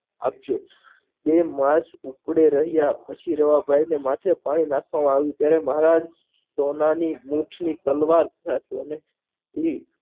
આપજો બે માણસ ઉપડી રહ્યા પછી રવાભાઈ ના માથે પાણી નાખવામાં આવ્યું ત્યારે મહારાજ સ્વમાની મોક્ષ ની તલવાર સાચવો અને